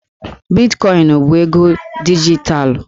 Bitkọịnụ bụ ego dijitalụ